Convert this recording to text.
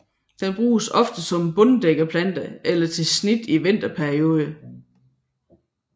Den bruges ofte som bunddækkeplante eller til snit i vinterperioden